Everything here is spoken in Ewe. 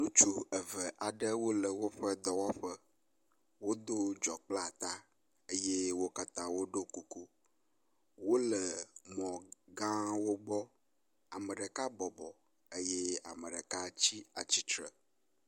Ŋutsu eve aɖewo le woƒe dɔwɔƒe, wodo dzɔ kple ata, eye wo katã woɖo kuku ,wole mɔgawo gbɔ, ame ɖeka bɔbɔ eye ame ɖeka tsi tsitre